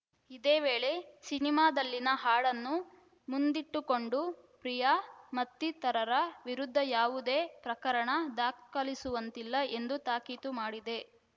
ಇದೇ ವೇಳೆ ಸಿನಿಮಾದಲ್ಲಿನ ಹಾಡನ್ನು ಮುಂದಿಟ್ಟುಕೊಂಡು ಪ್ರಿಯಾ ಮತ್ತಿತರರ ವಿರುದ್ಧ ಯಾವುದೇ ಪ್ರಕರಣ ದಾಖಲಿಸುವಂತಿಲ್ಲ ಎಂದೂ ತಾಕೀತು ಮಾಡಿದೆ